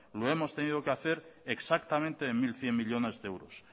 lo hemos tenido que hacer exactamente en mil cien millónes de euros